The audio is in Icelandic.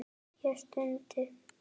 Ég stundi.